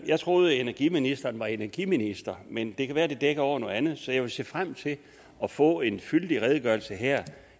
jeg troede at energiministeren var energiminister men det kan være at det dækker over noget andet så jeg vil se frem til at få en fyldig redegørelse her